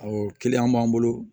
Awɔ b'an bolo